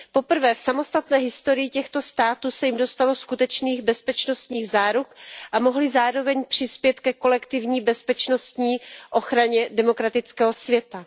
Poprvé v samostatné historii těchto států se jim dostalo skutečných bezpečnostních záruk a mohly zároveň přispět ke kolektivní bezpečnostní ochraně demokratického světa.